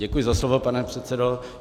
Děkuji za slovo, pane předsedo.